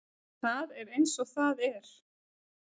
Það er eins og það er